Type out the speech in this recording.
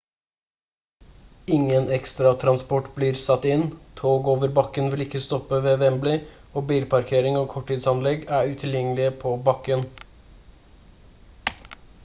ingen ekstra transport blir satt inn tog over bakken vil ikke stoppe ved wembley og bilparkering og korttidsanlegg er utilgjengelige på bakken